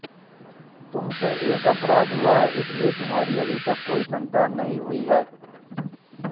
तुमसे एक अपराध हुआ है इसलिए तुम्हारी अभी तक कोई संतान नहीं हुई है